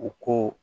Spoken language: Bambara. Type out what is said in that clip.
U ko